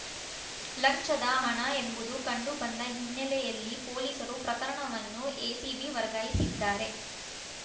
ಲಂಚದ ಹಣ ಎಂಬುದು ಕಂಡು ಬಂದ ಹಿನ್ನೆಲೆಯಲ್ಲಿ ಪೊಲೀಸರು ಪ್ರಕರಣವನ್ನು ಎಸಿಬಿ ವರ್ಗಾಯಿಸಿದ್ದಾರೆ